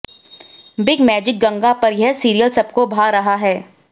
big Magic Ganga पर यह serial सबको भा रहा है